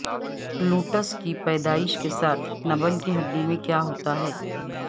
lotus کی پیدائش کے ساتھ نبل کی ہڈی میں کیا ہوتا ہے